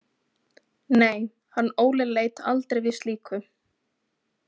Nei, hann Óli leit aldrei við slíku.